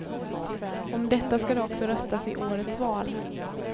Om detta ska det också röstas i årets val.